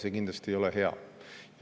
See kindlasti ei ole hea.